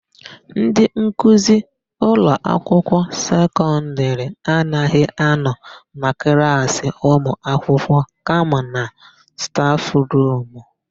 Ndị nkuzi ụlọakwụkwọ sekọndịrị anaghị anọ na klaasị ụmụakwụkwọ kama na stafụrumu.